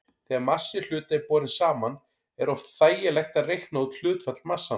Þegar massi hluta er borinn saman er oft þægilegt að reikna út hlutfall massanna.